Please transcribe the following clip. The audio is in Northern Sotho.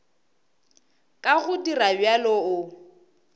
ka go dira bjalo o